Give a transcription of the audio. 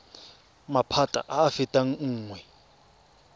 maphata a a fetang nngwe